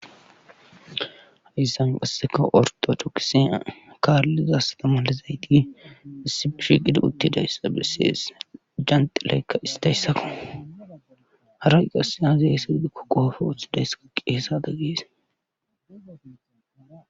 hayssan qasseka orto dokise kaallizastamalezayti isibishiqidi uttidayssa bessees janxilaykka istayssako haray qasse haze esa gidikko qoofe uththidayssaka qeesada gees